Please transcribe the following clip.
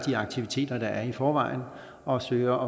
aktiviteter der i forvejen er og søger